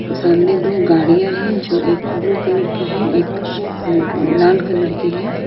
सामने दो गाड़ियां हैं जो एक ब्लू कलर की है एक ल लाल कलर की है।